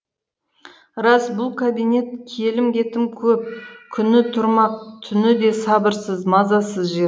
рас бұл кабинет келім кетімі көп күні тұрмақ түні де сабырсыз мазасыз жер